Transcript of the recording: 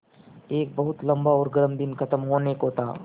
एक बहुत लम्बा और गर्म दिन ख़त्म होने को था